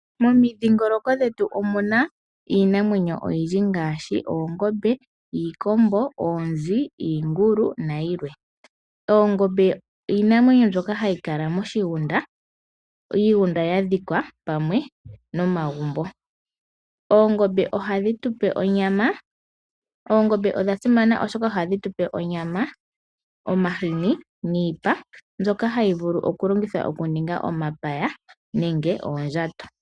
Momidhingoloko dhetu omu na iinamwenyo oyindji ngaashi oongombe, iikombo, oonzi, iingulu nayilwe. Oongombe iinamwenyo mbyoka hayi kala moshigunda, iigunda ya dhikwa pamwe nomagumbo. Oongombe ohadhi tu pe onyama. Oongombe odha simana oshoka ohadhi tu pe onyama, omahini, niipa mbyoka hayi vulu okulongithwa okuninga omapaya nenge oondjato.